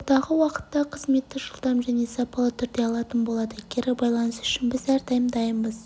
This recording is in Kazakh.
алдағы уақытта қызметті жылдам және сапалы түрде алатын болады кері байланыс үшін біз әрдайым дайынбыз